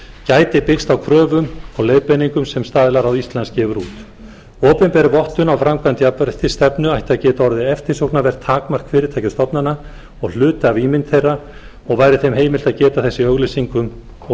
gæti byggst á kröfum og leiðbeiningum sem staðlaráð íslands gefur út opinber vottun á framkvæmd jafnréttisstefnu ætti að geta orðið eftirsóknarvert takmark fyrirtækja og stofnana og hluti af ímynd þeirra og væri þeim heimilt að geta þess í auglýsingum og